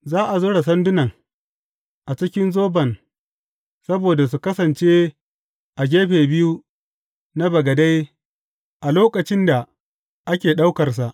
Za a zura sandunan a cikin zoban saboda su kasance a gefe biyu na bagade a lokacin da ake ɗaukarsa.